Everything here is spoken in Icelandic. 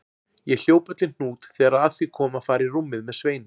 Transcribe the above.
Ég hljóp öll í hnút þegar að því kom að fara í rúmið með Sveini.